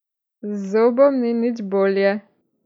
Z zobom ni nič bolje.